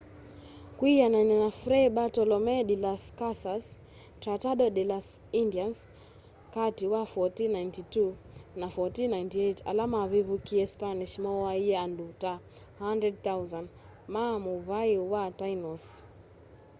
kwianana na fray bartolome de las casas tratado de las indians kati wa 1492 na 1498 ala mavivukiie spanish mooaie andu ta 100,000 ma muvai wa tainos